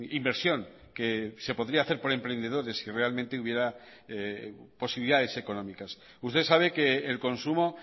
inversión que se podría hacer por emprendedores si realmente hubiera posibilidades económicas usted sabe que el consumo